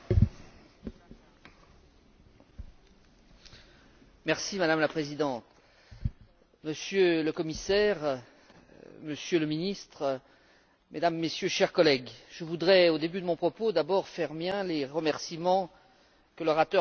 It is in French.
Madame la Présidente, Monsieur le Commissaire, Monsieur le Ministre, Mesdames et Messieurs, chers collègues, je voudrais d'abord, au début de mon propos, faire miens les remerciements que l'orateur précédent vient d'adresser à un certain nombre de personnes.